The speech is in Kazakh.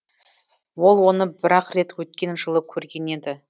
ол оны бір ақ рет өткен жылы көрген еді